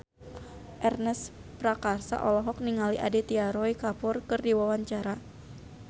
Ernest Prakasa olohok ningali Aditya Roy Kapoor keur diwawancara